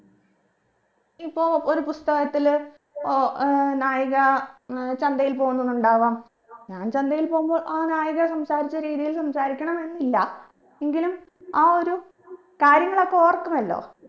ഇപ്പൊ ഒരു പുസ്തകത്തില് ഓ ഏർ നായിക ഏർ ചന്തയിൽ പൊന്നൂന്ന് ഉണ്ടാവാം ഞാൻ ചന്തയിൽ പോവുമ്പോ ആ നായികാ സംസാരിച്ച രീതിയിൽ സംസാരിക്കണം എന്നില്ല എങ്കിലും ആ ഒരു കാര്യങ്ങളൊക്കെ ഓർക്കുമല്ലോ